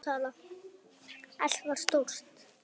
Allt var stórt.